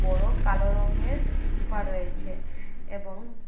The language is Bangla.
বড়ো কালো রঙের সুফা রয়েছে এবং--